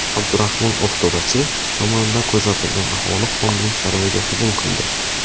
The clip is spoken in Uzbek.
Abdurahmon Oftobachi tomonidan qo‘zg‘atilgan aholi xonning saroyiga hujum qildi.